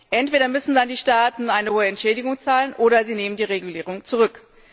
Entweder müssen dann die Staaten eine hohe Entschädigung zahlen, oder sie nehmen die Regulierung zurück.